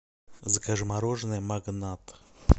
закажи мороженое магнат